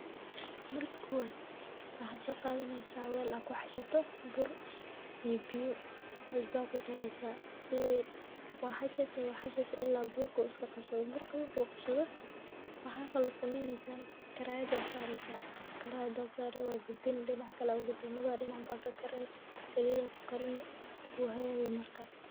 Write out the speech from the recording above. Marka kowad waxaa soqadaneysaah wel aa kuxashato bur, iyo biyo cusbo aa kudareysaah sidi waxasheysaah ila burka iskaqabsado, waxaa kalo sameynesaah karayada aa sareysaah , karayada aa sare wagadini dinaca kale aa ugadini lawada dinacbo wakakarini salid aa kukarini uu hagaga marka.